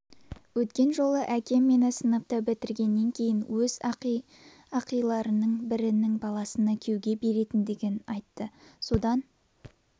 өткен жолы әкем мені сыныпты бітіргеннен кейің өз ақиларының бірінің баласына күйеуге беретіндігін айтты содан